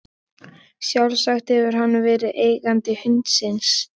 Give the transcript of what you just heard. Sjálfsagt hefur hann verið eigandi hundsins.